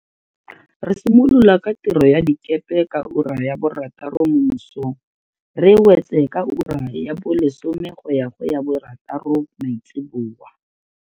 Re simolola ka tiro ya dikepe ka ura ya borataro mo mosong, re e wetse ka ura ya bo lesome go ya go ya borataro maitsibuya.